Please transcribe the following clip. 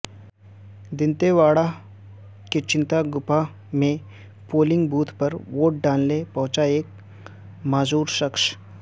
دنتے واڑہ کے چنتاگپھا میں polling booth پر ووٹ ڈالنے پہنچا ایک معذور شخص